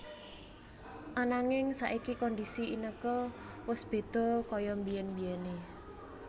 Ananging saiki kondisi Inneke wus bedha kaya mbiyen mbiyené